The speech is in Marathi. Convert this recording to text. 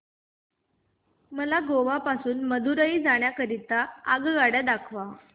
मला गोवा पासून मदुरई जाण्या करीता आगगाड्या दाखवा